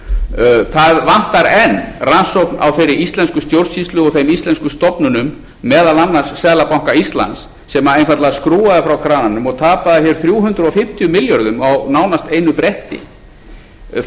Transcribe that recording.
enn rannsókn á þeirri íslensku stjórnsýslu og þeim íslensku stofnunum meðal annars seðlabanka íslands sem einfaldlega skrúfaði frá krananum og tapaði hér þrjú hundruð fimmtíu milljörðum á nánast einu bretti þar